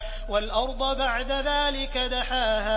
وَالْأَرْضَ بَعْدَ ذَٰلِكَ دَحَاهَا